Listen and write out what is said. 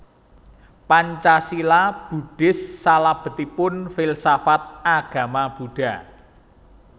Pancasila Buddhis salabetipun Filsafat Agama Buddha